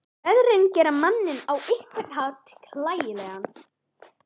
Veðrin gera manninn á einhvern hátt hlægilegan.